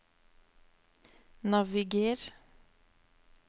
naviger